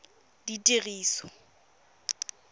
ditiriso